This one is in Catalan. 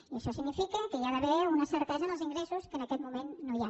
i això significa que hi ha d’haver una certesa en els ingressos que en aquest moment no hi és